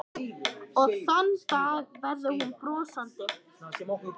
Og þann dag verður hún brosandi.